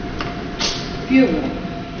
fjögurra